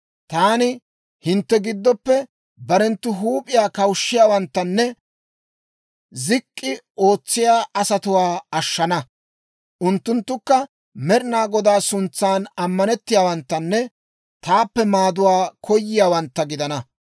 Taani hintte giddoppe barenttu huup'iyaa kawushshiyaawanttanne zik'k'i ootsiyaa asatuwaa ashshana; unttunttukka Med'inaa Godaa suntsan ammanettiyaawanttanne taappe maaduwaa koyiyaawantta gidana.